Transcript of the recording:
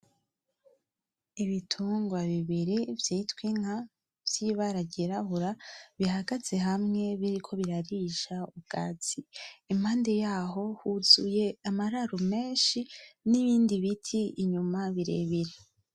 Ibitungwa bibiri vyitwa inka vyibara ryirabura bihagaze hamye biriko birarisha ubwatsi. Impande yaho huzuye amararo menshi nibindi biti inyuma birebire.